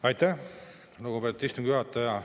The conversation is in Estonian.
Aitäh, lugupeetud istungi juhataja!